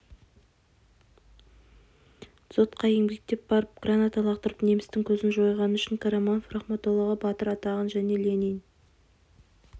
дзотқа еңбектеп барып граната лақтырып немістің көзін жойғаны үшін қараманов рахметоллаға батыр атағын және ленин